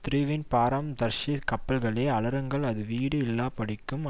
தீருவின் பாரம் தர்ஷீஸ் கப்பல்களே அலறுங்கள் அது வீடு இல்லாதபடிக்கும்